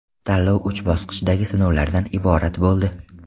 Tanlov uch bosqichdagi sinovlardan iborat bo‘ldi.